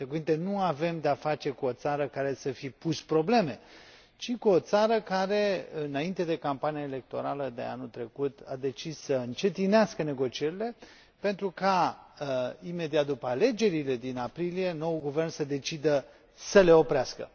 Cu alte cuvinte, nu avem de a face cu o țară care să fi pus probleme, ci cu o țară care, înainte de campania electorală de anul trecut, a decis să încetinească negocierile pentru ca, imediat după alegerile din aprilie, noul guvern să decidă să le oprească.